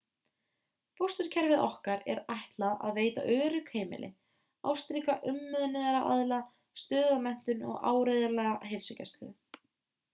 fósturkerfi okkar er ætlað að veita örugg heimili ástríka umönnunaraðila stöðuga menntun og áreiðanlega heilsugæslu